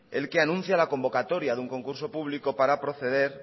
el que anuncia la convocatoria de un concurso público para proceder